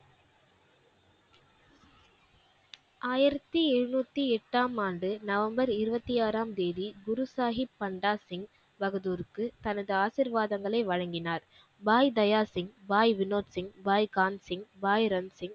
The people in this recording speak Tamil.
ஆயிரத்தி எழுநூத்தி எட்டாம் ஆண்டு நவம்பர் இருபத்தி ஆறாம் தேதி குரு சாஹிப் பண்டாசிங் பகதூருக்கு தனது ஆசீர்வாதங்களை வழங்கினார் பாய் தயாசிங் பாய் வினோத் சிங் பாய் கான்சிங் பாய் ரம்சிங்